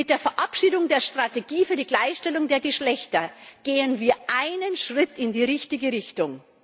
Mit der Verabschiedung der Strategie für die Gleichstellung der Geschlechter gehen wir einen Schritt in die richtige Richtung.